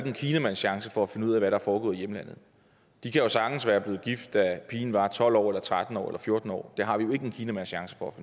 en kinamands chance for at finde ud af hvad der er foregået i hjemlandet de kan sagtens være blevet gift da pigen var tolv år eller tretten år eller fjorten år det har vi ikke en kinamands chance for at